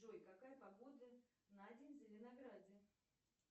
джой какая погода на день в зеленограде